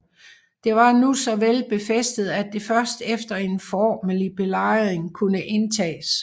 Det var nu så vel befæstet at det først efter en formelig belejring kunne indtages